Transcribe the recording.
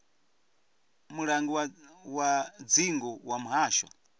mulangi wa dzingu wa muhasho